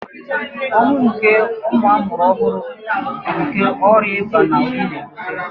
Ọnwụ nke ụmụ amụrụ ọhụrụ bu nkè ọrịa ịba na oyi n'ebute